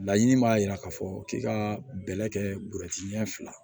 Laɲini b'a yira k'a fɔ k'i ka bɛlɛ kɛ bɔrɛ ɲɛ fila